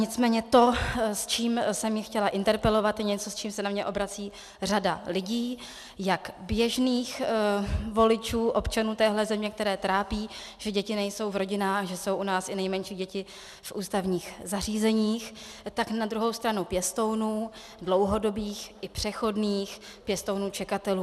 Nicméně to, s čím jsem ji chtěla interpelovat, je něco, s čím se na mě obrací řada lidí, jak běžných voličů, občanů téhle země, které trápí, že děti nejsou v rodinách, že jsou u nás i nejmenší děti v ústavních zařízeních, tak na druhou stranu pěstounů, dlouhodobých i přechodných, pěstounů čekatelů.